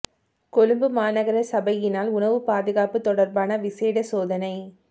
கொழும்பு மாநகர சபையினால் உணவு பாதுகாப்பு தொடர்பான விசேட சோதனை